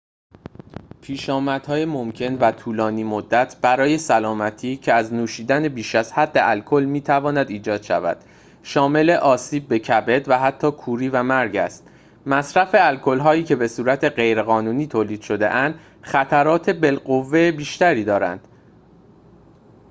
پیشامدهای ممکن و طولانی مدت برای سلامتی که از نوشیدن بیش از حد الکل می‌تواند ایجاد شود شامل آسیب به کبد و حتی کوری و مرگ است مصرف الکل‌هایی که بصورت غیرقانونی تولید شده‌اند خطرات بالقوه بیشتری دارند